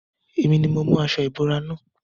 Èmi ni mo mú aṣo ìbora na.